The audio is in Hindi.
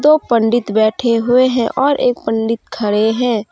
दो पंडित बैठे हुए हैं और एक पंडित खड़े हैं।